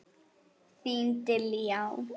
Þín Diljá.